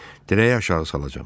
Dirəyə aşağı salacağam.